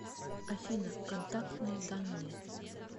афина контактные данные